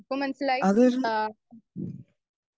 speaker 1 ഇപ്പം മനസ്സിലായി ആ